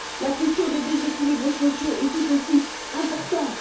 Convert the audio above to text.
La question des déséquilibres sociaux est tout aussi importante.